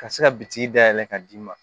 Ka se ka bitiki da yɛlɛ ka d'i ma